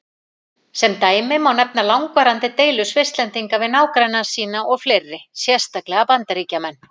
Sem dæmi má nefna langvarandi deilur Svisslendinga við nágranna sína og fleiri, sérstaklega Bandaríkjamenn.